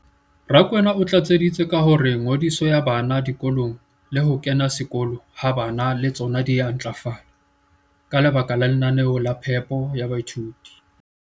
Rakwena o tlatseditse ka hore ngodiso ya bana dikolong le ho kena sekolo ha bana le tsona di a ntlafala ka lebaka la lenaneo la phepo ya baithuti.